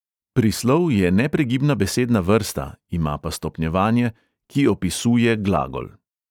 Prislov je nepregibna besedna vrsta (ima pa stopnjevanje), ki opisuje glagol.